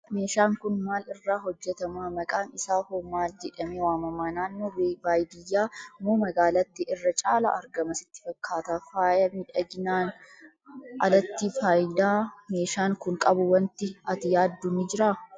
Meeshaan kun maal irraa hojjetama? Maqaan isaa hoo maal jedhamee waamama? Naannoo baadiyyaa moo magaalaatti irra caalaa argama sitti fakkaata? Faaya miidhaginaan alatti, faayidaa meeshaan kun qabu waanti ati yaaddu ni jiraa?